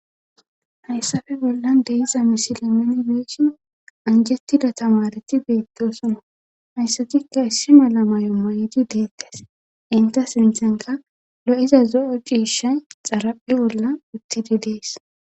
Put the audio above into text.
Hayssafe bollan deiza misile meni beeshin anjettida tamareti beettosona hayssatikka issi mala may'o may'idi deettes inta sinthenka lo'iza zo'o ciisha xaraphe bolla uttidi dees.